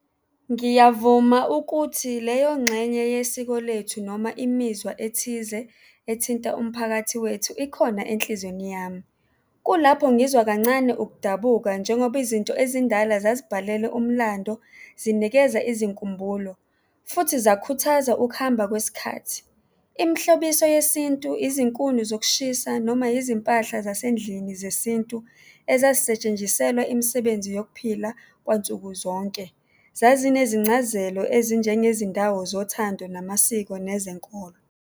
Ngiyavuma ukuthi leyo ngxenye yesiko lethu noma imizwa ethize ethinta umphakathi wethu ikhona enhlizweni yami. Kulapho ngizwa kancane ukudabuka njengoba izinto ezindala zazibhalelwe umlando, zinikeza izinkumbulo futhi zakhuthaza ukuhamba kwesikhathi. Imihlobiso yesintu, izinkuni zokushisa noma izimpahla zasendlini zesintu ezazisetshenjiselwa imisebenzi yokuphila kwansukuzonke, zazinezincazelo ezinjengezindawo zothando, namasiko nezenkolo.